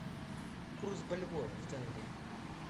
курс бальбоа в тенге